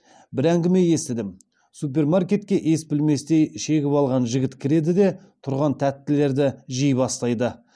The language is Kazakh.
бір әңгіме естідім супермаркетке ес білместей шегіп алған жігіт кіреді де тұрған тәттілерді жей бастайды